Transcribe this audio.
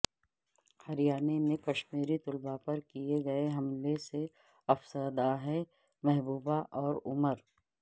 ہریانہ میں کشمیری طلباء پر کئے گئے حملے سے افسردہ ہیں محبوبہ اور عمر